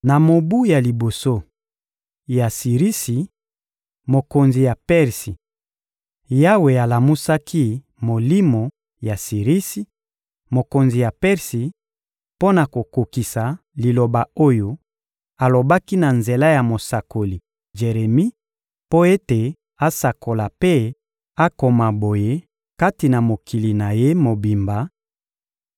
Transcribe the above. Na mobu ya liboso ya Sirisi, mokonzi ya Persi, Yawe alamusaki molimo ya Sirisi, mokonzi ya Persi, mpo na kokokisa liloba oyo alobaki na nzela ya mosakoli Jeremi mpo ete asakola mpe akoma boye kati na mokili na ye mobimba: